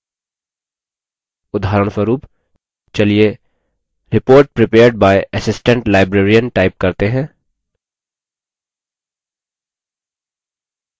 उदाहरणस्वरुप चलिए report prepared by assistant librarian type करते हैं